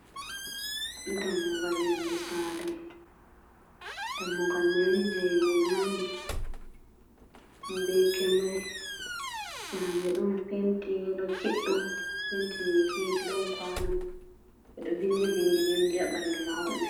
Dammugal yonde saare. Dammugal mai ni jei himɓe nani, be kewre, sera mai ɗon penti yelo kiɗɗum penti ma hiɗi, ɗon kwano. Ɓe ɗo vindi bindi-bindi ha ɓandu mahol mai.